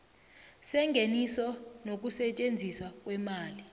sengeniso nokusetjenziswa kweemali